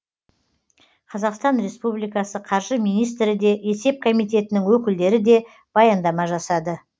қазақстан республикасы қаржы министрі де есеп комитетінің өкілдері де баяндама жасады